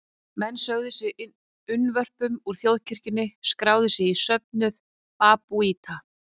Menn sögðu sig unnvörpum úr þjóðkirkjunni og skráðu sig í söfnuð babúíta.